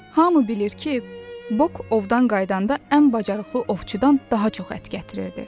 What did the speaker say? Hamı bilir ki, Bok ovdan qayıdanda ən bacarıqlı ovçudan daha çox ət gətirirdi.